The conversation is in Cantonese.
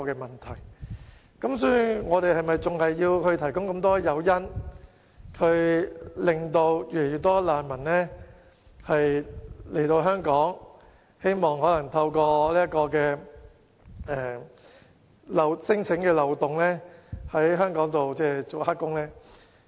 香港是否仍要提供眾多誘因吸引越來越多難民來港，以免遣返聲請機制的漏洞留港從事非法勞工呢？